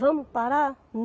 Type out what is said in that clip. Vamos parar?